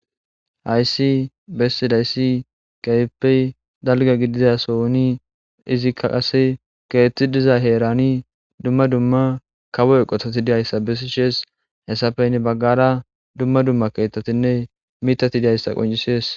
Hayssi bessidayssi keyeppey dalga gidizasooni izikka qase keetti diza heerani dumma dumma kawo eqotati diyayssa bessi shees hessafeynne baggara dumma dumma keettatinne mitati diyayssa qoncisees